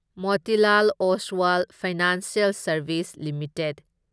Motilal Oswal financial services limited